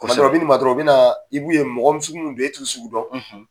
Tuma dɔ la , u bɛ na i man dɔrɔnw, u bɛ na ,mɔgɔ sugu min don e t'u sugu dɔn